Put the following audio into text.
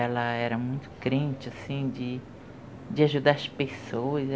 Ela era muito crente, assim, de ajudar as pessoas.